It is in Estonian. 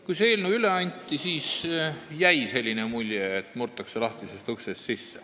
Kui see eelnõu üle anti, siis jäi selline mulje, et murtakse sisse lahtisest uksest.